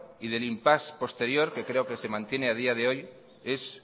y del impasse posterior que creo que se mantiene a día de hoy es